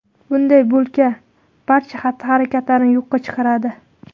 Bunday bulka barcha xatti-harakatlarni yo‘qqa chiqaradi.